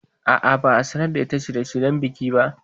A'a, ba a sanar da ita shirye shiryen bikin ba